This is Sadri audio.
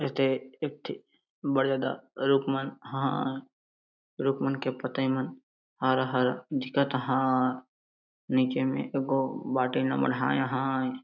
ऐते एकठी बड़े दा रुखमन हाय रुकमन के पतई मन हरा -हरा दिखत हाय नीचे में एगो बाटी ला मड़हाय हाय।